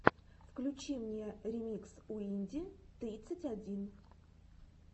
включи мне ремикс уинди тридцать один